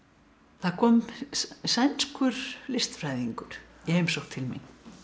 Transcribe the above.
það kom sænskur listfræðingur í heimsókn til mín